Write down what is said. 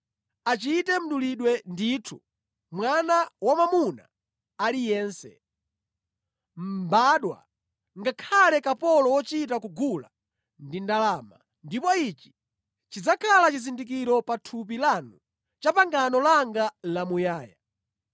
Achite mdulidwe ndithu mwana wamwamuna aliyense, mbadwa ngakhale kapolo wochita kugula ndi ndalama, ndipo ichi chidzakhala chizindikiro pa thupi lanu cha pangano langa lamuyaya.